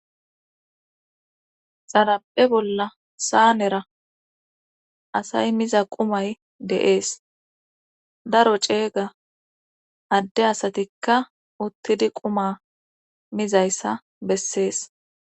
Xarape bolla saanera asay miza qumay deees daro ceega adde asatikka uttidi quma mizayssa bessees